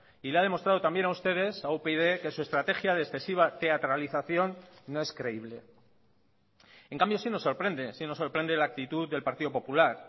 y le ha demostrado también a ustedes a upyd que su estrategia de excesiva teatralización no es creíble en cambio sí nos sorprende sí nos sorprende la actitud del partido popular